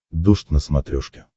дождь на смотрешке